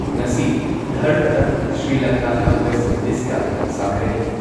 ꯉꯁꯤ ꯙꯔꯃꯗ ꯁ꯭ꯔꯤꯂꯪꯀꯥꯒ ꯋꯦꯁ ꯏꯟꯗꯤꯁꯀ ꯁꯥꯟꯅꯒꯅꯤ ꯫